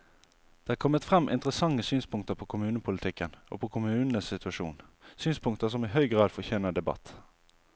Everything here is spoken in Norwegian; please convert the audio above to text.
Det er kommet frem interessante synspunkter på kommunepolitikken og på kommunenes situasjon, synspunkter som i høy grad fortjener debatt.